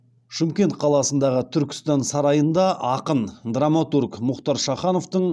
шымкент қаласындағы түркістан сарайында ақын драматург мұхтар шахановтың